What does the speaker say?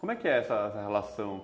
Como é que é essa relação?